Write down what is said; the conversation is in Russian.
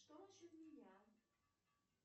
что насчет меня